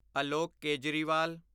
Alok Kejriwal